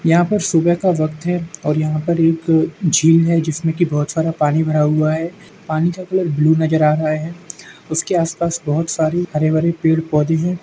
यहाँ पर सुबह का वक्त है और यहाँ पर एक झील है। जिसमे की बहुत सारा पानी भरा हुआ है। पानी का कलर ब्लू नजर आ रहा है। उसके आस पास बहुत सारे हरे भरे पेड़ पौधे हैं।